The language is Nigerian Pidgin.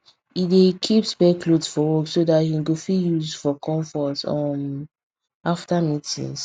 e dey keep spare cloth for work so that him go fit use for comfort um after meetings